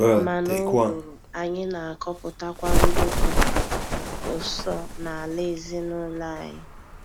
Ma n'ụ́gụ̀rụ̀, anyị na-akọpụtakwa nduku ụsọ n'ala ezinụlọ anyị.